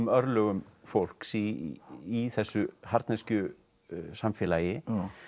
örlögum fólks í þessu harðneskju samfélagi